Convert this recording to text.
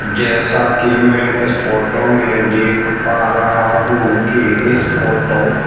जैसा की मैं इस फोटो में देख पा रहा हूं की इस फोटो --